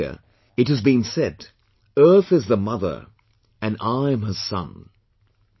In India, it has been said "Earth is the mother and I am her son"